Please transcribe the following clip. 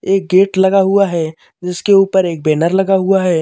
एक गेट लगा हुआ है जिसके ऊपर एक बैनर लगा हुआ है।